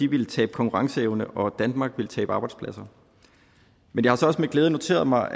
ville tabe konkurrenceevne og at danmark ville tabe arbejdspladser men jeg har så også med glæde noteret mig